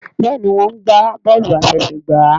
Béèni wón gbà Bọ́ọ̀lù àfẹsẹ̀gbá.